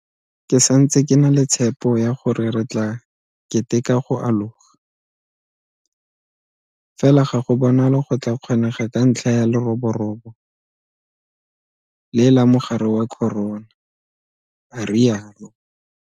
Ke santse ke na le tshepo ya gore re tla keteka go aloga, fela ga go bonale go tla kgonega ka ntlha ya leroborobo le la mogare wa corona, a rialo.